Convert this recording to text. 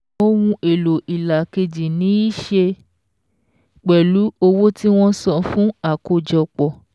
Ohun èlò ìlà kejì ní í ṣe pẹ̀lú owó tí wọ́n san fún àkójọpọ̀.